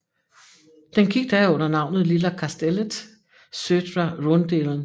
Det gik da under navnet Lilla kastellet södra rundeln